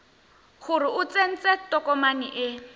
gore o tsentse tokomane e